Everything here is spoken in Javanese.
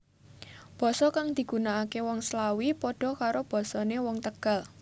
Basa kang digunakaké wong Slawi padha karo basané wong Tegal